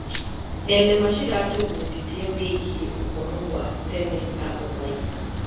Thenema ciratũbundithia wĩgiĩ ũhoro wa tene na ũgai.